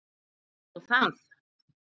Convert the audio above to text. Hvað var nú það?